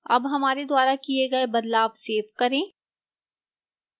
अब हमारे द्वारा किए गए बदलाव सेव करें